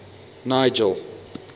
nigel